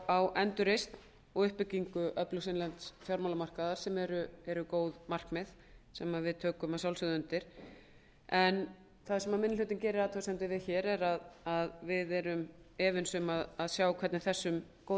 á endurreisn og uppbyggingu öflugs innlends fjármálamarkaðar sem eru góð markmið sem við tökum að sjálfsögðu undir en það sem minni hlutinn gerir athugasemdir við hér er að við erum efins um að sjá hvernig þessum góðu